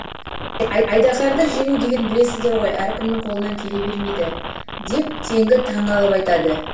айдаһарды жену деген білесіздер ғой әркімнің қолынан келебермейді деп теңгі таңғалып айтады